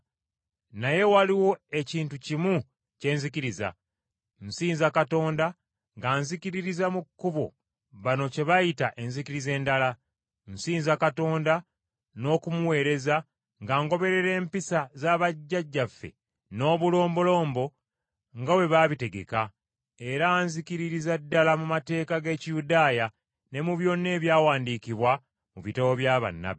Naye waliwo ekintu kimu kye nzikiriza. Nsinza Katonda nga nzikiririza mu Kkubo, bano kye bayita enzikiriza endala. Nsinza Katonda n’okumuweereza nga ngoberera empisa za bajjajjaffe n’obulombolombo, nga bwe baabitegeka, era nzikiririza ddala mu mateeka g’Ekiyudaaya ne mu byonna ebyawandiikibwa mu bitabo bya bannabbi.